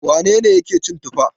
Wane ne yake cin tuffa?